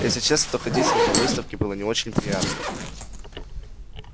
если честно то ходить с ним по выставке было не очень приятно